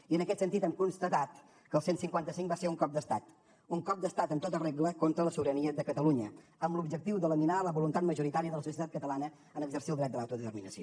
i en aquest sentit hem constatat que el cent i cinquanta cinc va ser un cop d’estat un cop d’estat en tota regla contra la sobirania de catalunya amb l’objectiu de laminar la voluntat majoritària de la societat catalana en exercir el dret a l’autodeterminació